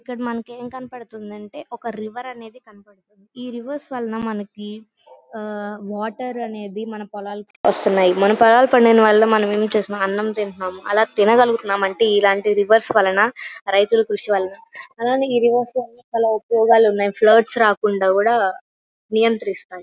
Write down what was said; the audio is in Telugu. ఇక్కడ మనకి ఎం కనపడిందంటే ఒక రివర్ అనేది కనపడుతుంది. ఈ రివర్స్ వలన మనకి వాటర్ అనేది మన పొలాలకు వస్తున్నాయి. మన పొలాలు పండటం వాళ్ళ మనమేం చేస్తున్నాం అన్నం తిన్తనం ఆలా తినగలుగుతున్నాం అంటే ఇలాంటి రివర్స్ వాలా న రైతుల కృషి వలన అలాగే ఈ రివర్స్ వాళ్ళ చాలా ఉపయోగాలున్నాయి ప్లాట్స్ రాకుండా కూడా నియంత్రిస్తుంది.